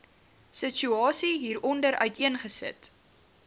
situasie hieronder uiteengesit